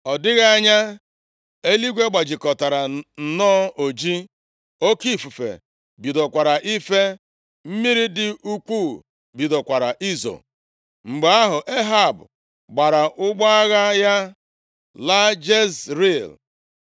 Ọ dịghị anya, eluigwe gbajikọtara nnọọ oji. Oke ifufe bidokwara ife. Mmiri dị ukwuu bidokwara izo. Mgbe ahụ, Ehab gbaara ụgbọ agha ya laa Jezril.